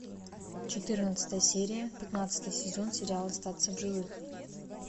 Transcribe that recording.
четырнадцатая серия пятнадцатый сезон сериал остаться в живых